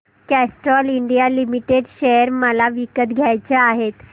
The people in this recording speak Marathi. कॅस्ट्रॉल इंडिया लिमिटेड शेअर मला विकत घ्यायचे आहेत